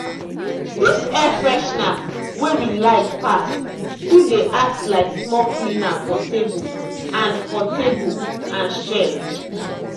dis air freshener wey we like pass still dey act like small cleaner for table and for table and shelf.